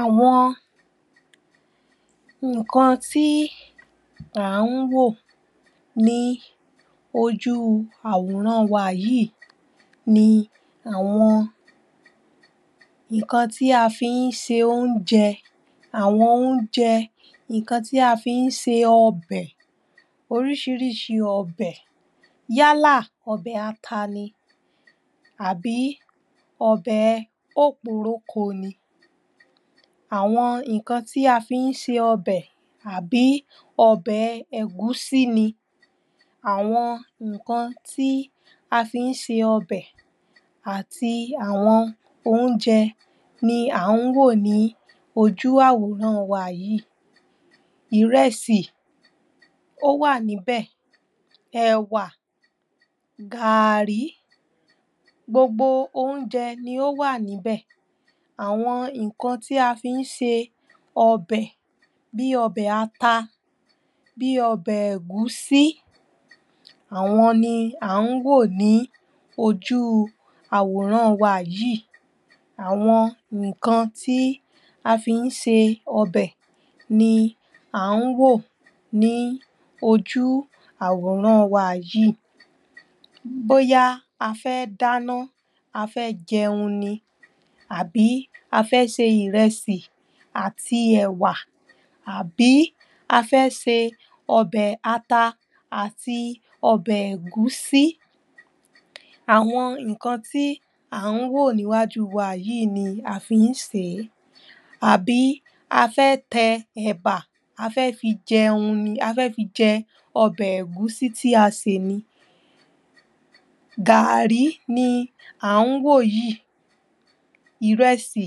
àwọn nǹkan tí à ń wò ní ojú àwòràn wa yìí ni àwọn ǹkan tí a fi ń se oúnjẹ àwọn oúnjẹ tí a fi ń se ọbẹ̀ oríṣirísi ọbẹ̀ yálà ọbẹ̀ ata ni àbí ọbẹ̀ okporoko ni àwọn nǹkan tí a fi ń ṣe ọbẹ̀ àbí ọbẹ̀ ẹ̀gúsí ni àwọn nǹkan tí a fi ń ṣe ọbẹ̀ àti àwọn oúnjẹ ni à ń wò ní ojú àwòràn wa yìí ìrẹsì ówà níbẹ̀, ẹ̀wà, gààri, gbogbo oúnjẹ lóh wà níbẹ̀ àwọn nǹkan tí a fi ń ṣe ọbẹ̀ bí ọbè ata bí ọbẹ̀ ẹ̀gúsí àwọn ni à ń wò ní ojú àwòràn wa yìí àwọn nǹkan tí a fi ń ṣe ọbẹ̀ ni à ń wò ní ojú àwòràn wa yìí bóyá a fẹ́ dáná,a fẹ́ jẹun ni àbí a fẹ́ se ìrẹsì àti ẹ̀wà àbí a fẹ́ se ọbẹ̀ ata àti ọbẹ̀ ègúsí àwọn nǹkan tí à ń wò ní iwájú wa yìí ni a fi ń sè é àbí a fẹ́ tẹ ẹ̀bà a fẹ́ fi jẹun ni,a fẹ́ fi jẹ ọbẹ̀ ẹ̀gúsí tí a sè ni gààrí ni à ń wò yìí ìrẹsì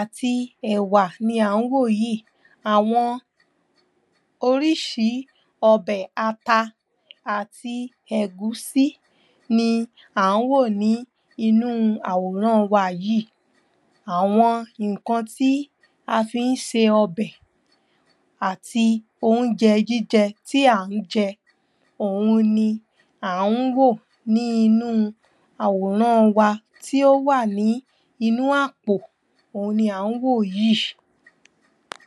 àti ẹ̀wà ni à ń wò yìí. Àwọn oríṣi ọbẹ̀ ata àti ọbẹ̀ ẹ̀gúsí ni à ń wò ní inú àwòràn wa yìí àwọn nǹkan tí a fi ń se ọbẹ̀ Àti oúnjẹ jíjẹ tí à ń jẹ òun ni à ń wò nínú àwòràn wa tí ó wà ní inú àpò òun ni à ń wò yìí